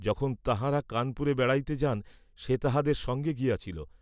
যখন তাঁহারা কানপুরে বেড়াইতে যান সে তাঁহাদের সঙ্গে গিয়াছিল।